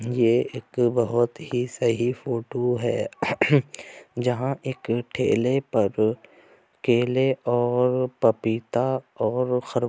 ये एक बहुत ही सही फोटो है जहाँ एक ठेले पर केले और पपीता और खर।